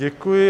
Děkuji.